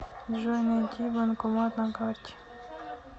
джой найди банкомат на карте